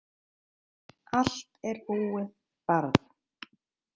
Allt er búið, barn.